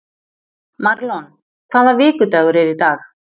Marlon, hvaða vikudagur er í dag?